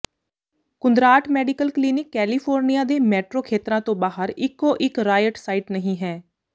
ਕੁੰਦਰਾਟ medical clinic California ਦੇ metro ਖੇਤਰਾਂ ਤੋਂ ਬਾਹਰ ਇੱਕੋ ਇੱਕ ਰਾਯਟ ਸਾਈਟ ਨਹੀਂ ਹੈ